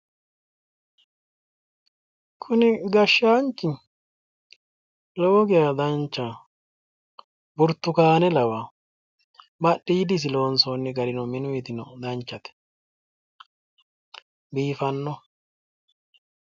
kuni gashshaanchi lowo geya danchaho burtukaane lawa badhidisi loonsoonni gari lowo geeshsha biifanno,